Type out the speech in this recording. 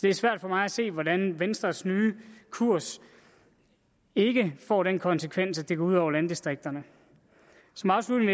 er svært for mig at se hvordan venstres nye kurs ikke får den konsekvens at det går ud over landdistrikterne som afslutning